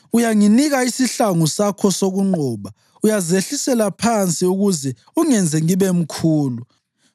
Uyanginika isihlangu sakho sokunqoba; uyazehlisela phansi ukuze ungenze ngibe mkhulu.